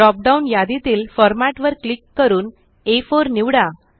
drop down यादीतील format वर click करून आ4 निवडा